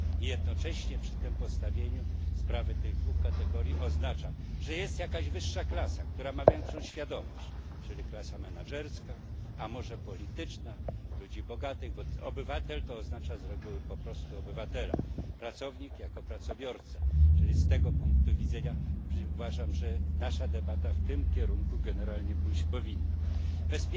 Jednocześnie takie postawienie sprawy tych dwóch kategorii oznacza, że jest jakaś wyższa klasa, która ma większą świadomość, czyli klasa menadżerska, a może polityczna, ludzi bogatych, bo obywatel oznacza z reguły po prostu obywatela, pracownika jako pracobiorcę, czyli z tego punktu widzenia uważam, że nasza debata powinna generalnie pójść w tym kierunku.